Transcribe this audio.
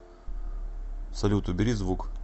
салют убери звук